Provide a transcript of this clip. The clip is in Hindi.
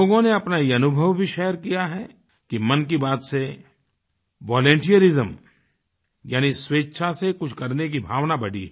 लोगों ने अपना ये अनुभव भी शेयर किया है कि मन की बात से वॉलंटियरिज्म यानी स्वेच्छा से कुछ करने की भावना बढ़ी है